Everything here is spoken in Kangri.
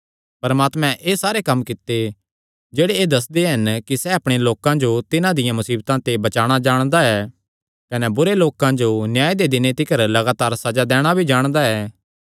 परमात्मे एह़ सारे कम्म कित्ते जेह्ड़े एह़ दस्सदे हन कि सैह़ अपणे लोकां जो तिन्हां दियां मुसीबतां ते बचाणा जाणदा ऐ कने बुरे लोकां जो न्याय दे दिने तिकर लगातार सज़ा दैणा भी जाणदा ऐ